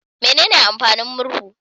Menene amfanin murhu?